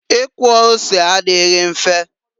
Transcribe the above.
Ikwọ ose adịghị mfe.